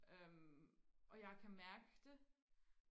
øhm og jeg kan mærke det